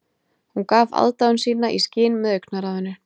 Hún gaf aðdáun sína í skyn með augnaráðinu